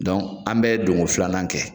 Dɔn an bɛ donko filanan kɛ.